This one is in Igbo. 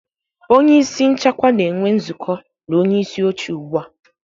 Onye isi nchekwa na-enwe nzukọ na onyeisi oche ugbu a